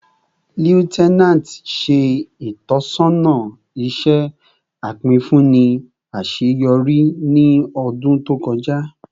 Lieutenant ṣe itọsọna iṣẹ apinfunni aṣeyọri aṣeyọri ni ọdun to kọja